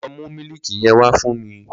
Lọ mú mílìkì yen wà fún mi!